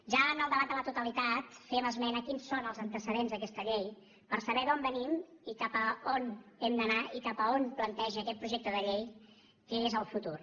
ja en el debat de la totalitat fèiem esment de quins són els antecedents d’aquesta llei per saber d’on venim i cap a on hem d’anar i cap a on planteja aquest projecte de llei que és el futur